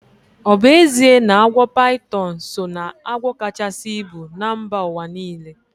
Ọ bụ ezie na agwọ paitọn so ná agwọ kachasi ibu na mba ụwa niile?